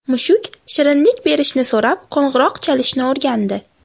Mushuk shirinlik berishni so‘rab qo‘ng‘iroq chalishni o‘rgandi .